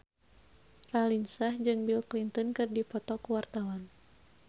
Raline Shah jeung Bill Clinton keur dipoto ku wartawan